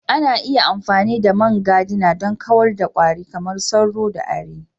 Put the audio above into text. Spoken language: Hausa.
Ana iya amfani da man gadina don kawar da kwari kamar sauro da ari.